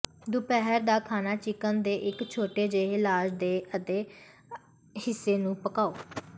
ਦੁਪਹਿਰ ਦਾ ਖਾਣਾ ਚਿਕਨ ਦੇ ਇਕ ਛੋਟੇ ਜਿਹੇ ਲਾਸ਼ ਦੇ ਅੱਧੇ ਹਿੱਸੇ ਨੂੰ ਪਕਾਉ